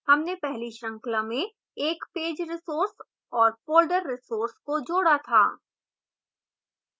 हमने पहली श्रृंखला में एक page resource और folder resource को जोड़ा था